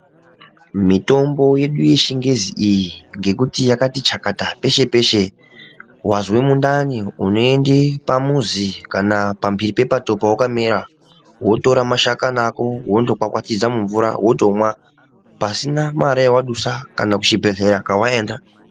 Mitombo yedu yechingezi ngekuti yakati chakata peshe peshe wanzwa mundani unoenda pamuzu kana kuenda pambiri panenge pakamera Wotora mashakani wotokwakwatiza pasina mare yawadusa kana chibhedhlera chawaenda.